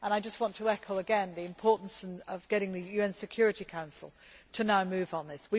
on. I just want to echo again the importance of getting the UN Security Council to now move